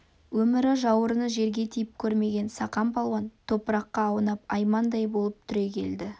өмірі жауырыны жерге тиіп көрмеген сақан палуан топыраққа аунап аймандай болып түрегелді